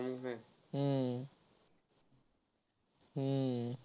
हम्म हम्म